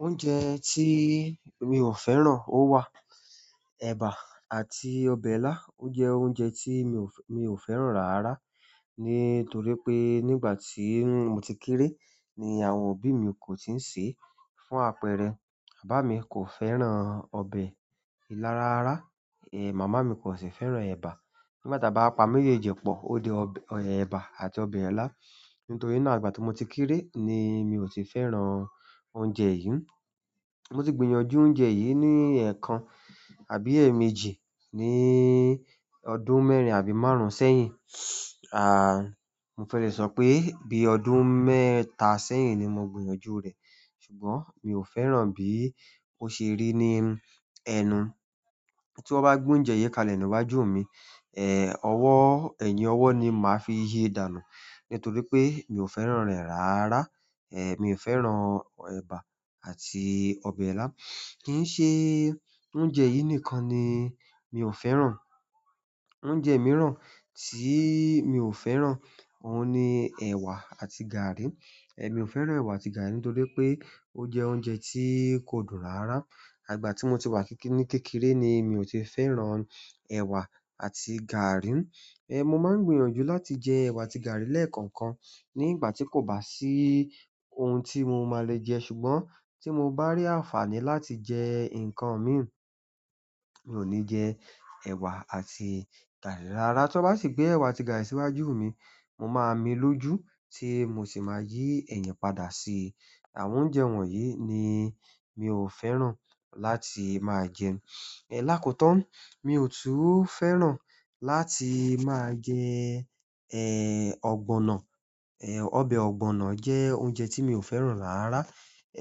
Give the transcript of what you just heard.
Oúnjẹ tí mi ò fẹ́ràn ó wà. Ẹ̀bà àti ọbẹ̀ ilá jẹ́ oúnjẹ tí mi ò fẹ́ràn rárá. Nítorí pé nígbà tí mo ti kéré ni àwọn òbí mi kò tíì sè é fún àpẹẹrẹ. Bàbá mi kò fẹ́ràn ọbẹ̀ ilá rárá, è, màmá mi kò sì fẹ́ràn ẹ̀bà. Nígbà tí a bá pa méjèjì pọ̀, ó di ẹ̀bà àti ọbẹ̀ ilá. Nítorí náà, àti ìgbà tí mo ti kéré ni mi ò tí ì fẹ́ràn oúnjẹ yìí. Mo ti gbìyànjú oúnjẹ yìí ni ẹ̀ẹkan àbí èèmejì ní ọdún mẹ́rin àbí márùn-ún sẹ́yìn. À, mo fẹ́ lè sọ pé bí ọdún mẹ́ta sẹ́yìn ni mo gbìyànjú rẹ̀. Ṣùgbọ́n mi ò fẹ́ràn bí ó ṣe rí ní ẹnu. Tí wọ́n bá gbé oúnjẹ yìí kalẹ̀ níwájú mi, è, ọwọ́-- ẹ̀yìn ọwọ́ ni màá fi yí dànù. Nítorí pé mi ò fẹ́ràn rẹ̀ rárá. È, mi ò fẹ́ràn ẹ̀bà àti ọbẹ̀ ilá. Kì ń ṣe oúnjẹ yìí nìkan ni mi ò fẹ́ràn. Oúnjẹ mìíràn tí mi ò fẹ́ràn òun ni ẹ̀wà àti gàrí. È, mi ò fẹ́ràn ẹ̀wà àti gàrí nítorí pé ó jẹ́ oúnjẹ tí kò dùn rárá. Ìgbà tí mo ti wà ní kékeré ni mi ò tí fẹ́ràn ẹ̀wà àti gàrí. È, mo máa ń gbìyànjú láti jẹ ẹ̀wà àti gàrí lẹ́ẹ̀kan kan nígbà tí kò bá sí ohun tí mo máa le jẹ. Ṣùgbọ́n tí mo bá rí àǹfààní láti jẹ nǹkan mìíràn, mi ò ní jẹ ẹ̀wà àti gàrí rárá. Tí wọ́n bá sì gbé ẹ̀wà àti gàrí síwájú mi, mo máa mi lójú tí mo sì máa yí ẹ̀yin padà. Sí àwọn oúnjẹ wọ̀nyí ni mi ò fẹ́ràn láti máa jẹ. Ẹ̀ lákotán, mi ò tún fẹ́ràn láti máa jẹ, ẹ́, ọ̀gbọ̀nọ̀. Ẹ̀, ọbẹ̀ ọ̀gbọ̀nọ̀ jẹ́ oúnjẹ tí mi ò fẹ́ràn rárá.